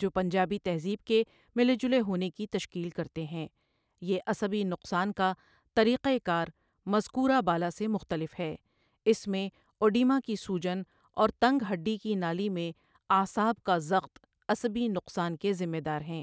جو پنجابی تہذیب کے ملے جلے ہونے کی تشکیل کرتے ہیں یہ عصبی نقصان کا طریقہ کار مذکورہ بالا سے مختلف ہے، اس میں اوڈیما کی سوجن اور تنگ ہڈی کی نالی میں اعصاب کا ضغط عصبی نقصان کے ذمہ دار ہیں۔